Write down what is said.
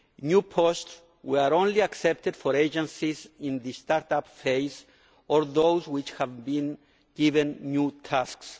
New posts were only accepted for agencies in the start up phase or for those which have been given new tasks.